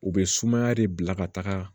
U bɛ sumaya de bila ka taga